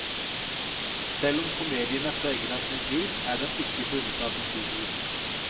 Selv om komedien er preget av sin tid, er den ikke bundet til historien.